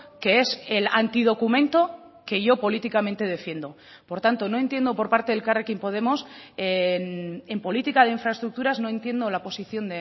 que es el antidocumento que yo políticamente defiendo por tanto no entiendo por parte de elkarrekin podemos en política de infraestructuras no entiendo la posición